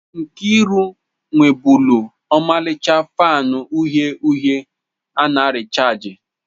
Nkeiru nwebulu ọmarịcha fanu uhie uhie a na rịchaajị.